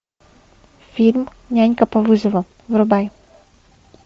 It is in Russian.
фильм нянька по вызову врубай